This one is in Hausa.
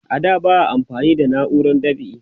a da ba a amfani da nauran dab'i